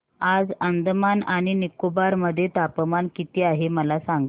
आज अंदमान आणि निकोबार मध्ये तापमान किती आहे मला सांगा